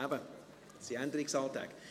Das sind Änderungsanträge.